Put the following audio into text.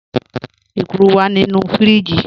Ẹ̀kúrù wà nínu fíríjì.